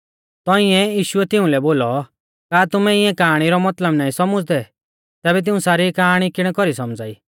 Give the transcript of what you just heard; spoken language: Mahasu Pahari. तौंइऐ यीशुऐ तिउंलै बोलौ का तुमै इऐं काआणी रौ मतलब नाईं सौमुझ़दै तैबै तिऊं सारी काआणी किणै कौरीऐ सौमझ़ा ई